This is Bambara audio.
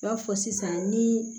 I b'a fɔ sisan ni